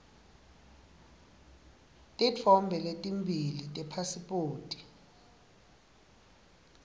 titfombe letimbili tepasiphoti